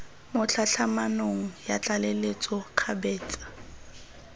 mo tlhatlhamanong ya tlaleletso kgabetsa